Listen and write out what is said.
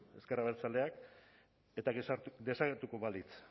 ezker abertzaleak eta desagertuko balitz